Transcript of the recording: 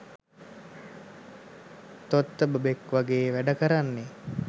තොත්ත බබෙක් වගේ වැඩ කරන්නෙ